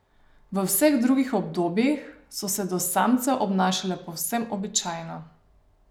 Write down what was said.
V vseh drugih obdobjih so se do samcev obnašale povsem običajno.